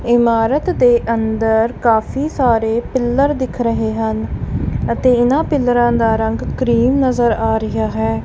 ਇਮਾਰਤ ਦੇ ਅੰਦਰ ਕਾਫੀ ਸਾਰੇ ਪਿੱਲਰ ਦਿਖ ਰਹੇ ਹਨ ਅਤੇ ਇਹਨਾਂ ਪਿਲਰਾਂ ਦਾ ਰੰਗ ਕ੍ਰੀਮ ਨਜ਼ਰ ਆ ਰਿਹਾ ਹੈ।